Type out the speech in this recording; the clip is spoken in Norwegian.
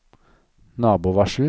nabovarsel